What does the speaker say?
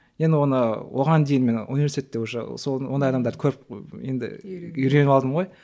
енді оны оған дейін мен университетте уже ондай адамдарды көріп енді үйреніп алдым ғой